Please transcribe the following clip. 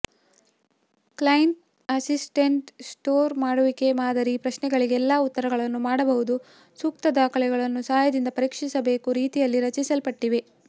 client assessment score ಮಾಡುವಿಕೆ ಮಾದರಿ ಪ್ರಶ್ನೆಗಳಿಗೆ ಎಲ್ಲಾ ಉತ್ತರಗಳನ್ನು ಮಾಡಬಹುದು ಸೂಕ್ತ ದಾಖಲೆಗಳನ್ನು ಸಹಾಯದಿಂದ ಪರೀಕ್ಷಿಸಬೇಕು ರೀತಿಯಲ್ಲಿ ರಚಿಸಲ್ಪಟ್ಟಿವೆ